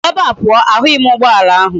Si ebe a puo! ahughi m ugboala ahu!